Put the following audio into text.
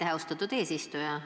Aitäh, austatud eesistuja!